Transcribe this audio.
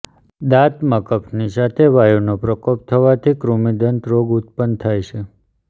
દાંતમાં કફની સાથે વાયુનો પ્રકોપ થવાથી કૃમિદંત રોગ ઉત્પન્ન થાય છે